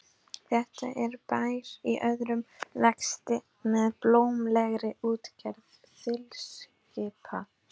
Þetta er bær í örum vexti með blómlegri útgerð þilskipa.